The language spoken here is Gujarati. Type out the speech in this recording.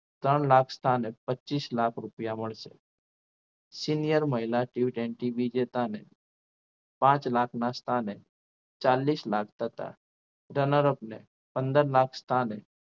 ત્રણ લાખ સ્થાને પચીસ લાખ રૂપિયા મળશે senior મહિલા ટી ટ્વેન્ટી વિજેતા ને પાંચ લાખના સ્થાને ચાલીસ લાખ તથા runner up ને પંદર લાખ સ્થાને